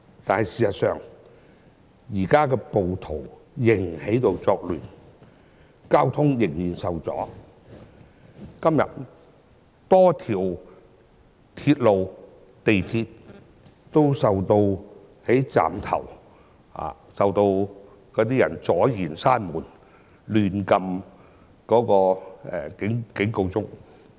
然而事實上，暴徒現時仍在作亂，交通仍然受阻，今天在多個港鐵站，仍有人阻礙列車關門，以及胡亂按動緊急掣。